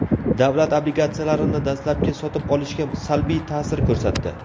davlat obligatsiyalarini dastlabki sotib olishga salbiy ta’sir ko‘rsatdi.